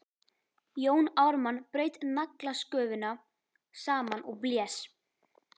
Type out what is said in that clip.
Jón Ármann braut naglasköfuna saman og blés.